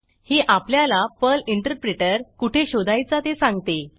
ही आपल्याला Perl interpreter कुठे शोधायचा ते सांगते